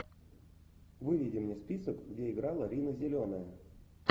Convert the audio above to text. выведи мне список где играла рина зеленая